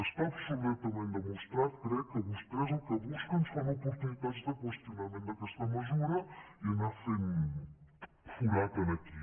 està absolutament demostrat crec que vostès el que busquen són oportunitats de qüestionament d’aquesta mesura i anar fent forat aquí